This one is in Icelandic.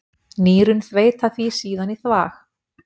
Nýrun þveita því síðan í þvag.